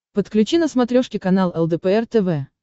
подключи на смотрешке канал лдпр тв